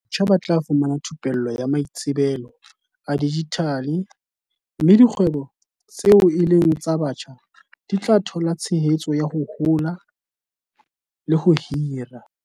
Batjha ba tla fumana thu pello ya maitsebelo a dijithale mme dikgwebo tseo e leng tsa batjha di tla thola tshehetso ya ho hola le ho hira.